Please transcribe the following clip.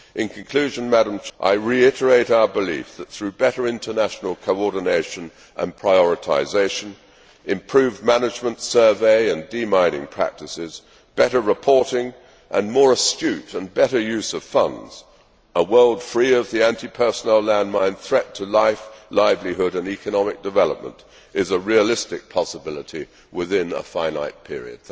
tasks. In conclusion, I reiterate our belief that, through better international coordination and prioritisation, improved management, survey and demining practices, better reporting and more astute and better use of funds, a world free of the anti personnel landmine threat to life, livelihood and economic development is a realistic possibility within a finite period.